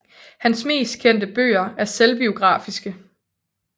Hans mest kendte bøger er selvbiografiske